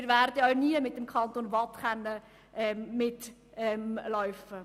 Wir werden auch nie mit dem Kanton Waadt mitlaufen.